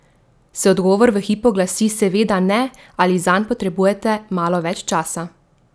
Se odgovor v hipu glasi seveda ne ali zanj potrebujete malo več časa?